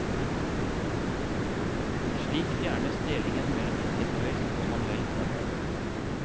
Slik fjernes delingen mellom intellektuelt og manuelt arbeid.